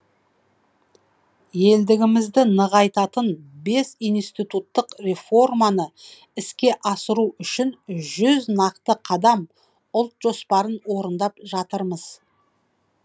елдігімізді нығайтатын бес институттық реформаны іске асыру үшін жүз нақты қадам ұлт жоспарын орындап жатырмыз